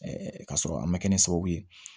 k'a sɔrɔ a ma kɛ ni sababu ye